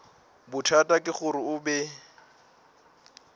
bothata ke gore o be